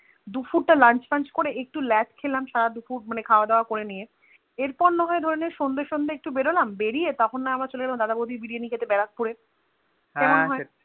দুপুরটা Lunch ফঞ্চ করে একটু ল্যাড খেলাম সারা দুপুর মানে খাওয়া দাও করে নিয়ে এর পর না হয়ে সন্ধে সন্ধে একটু বেরোলাম বেরিয়ে একটু আমরা চলে গেলাম দাদা বৌদির বিরিয়ানকি খেতে বারাকপুরে এ কেমন হয়ে